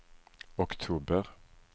oktober